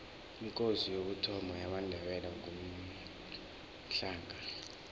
ikosi yokuthoma yamandebele ngumhlanga